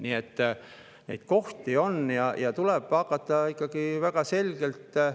Nii et neid kohti on ja tuleb hakata ikkagi väga selgelt …